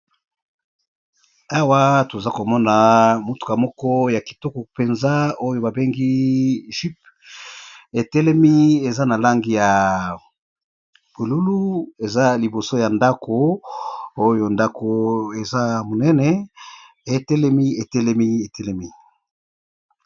Awa tozalikomona mutuka ya kitoko penza oyo ba bengi jeep etelemi eza na langi ya bonzinga eza liboso ya ndako pe etelemi.